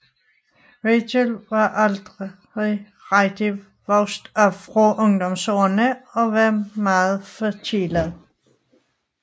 Rachel var aldrig rigtig vokset fra ungdomsårene og var meget forkælet